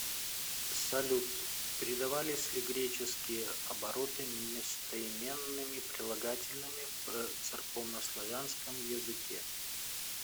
салют передавались ли греческие обороты местоименными прилагательными в церковнославянском языке